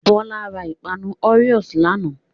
Bọla ra ìpanu Oreo lánàá.